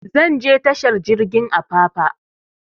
Zan je tashar jirgin apapa